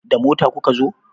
Da mota kuka zo?